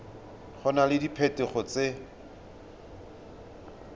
go na le diphetogo tse